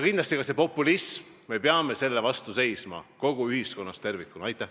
Kindlasti me peame ka populismi vastu seisma ühiskonnas tervikuna.